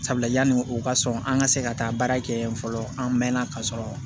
Sabula yanni o ka sɔn an ka se ka taa baara kɛ yen fɔlɔ an mɛnna ka sɔrɔ